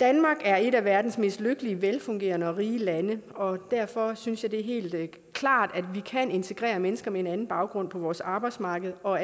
danmark er et af verdens mest lykkelige velfungerende og rige lande og derfor synes jeg det er helt klart at vi kan integrere mennesker med en anden baggrund på vores arbejdsmarked og